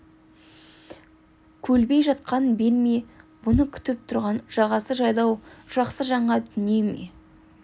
көлбей жатқан бел ме бұны күтіп тұрған жағасы жайлау жақсы жаңа дүние ме